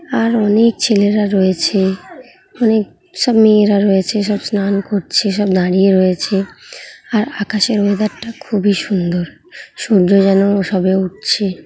আর অনেক ছেলেরা রয়েছে । অনেক সব মেয়েরা রয়েছে সব স্নান করছে সব দাঁড়িয়ে রয়েছে । আর আকাশের ওয়েদার টা খুবই সুন্দর । সূর্য যেন সবে উঠছে।